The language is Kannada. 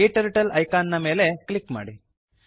ಕ್ಟರ್ಟಲ್ ಐಕಾನ್ ಮೇಲೆ ಕ್ಲಿಕ್ ಮಾಡಿ